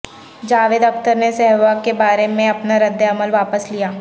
جاوید اختر نے سہواگ کے بارے میں اپنا ردعمل واپس لیا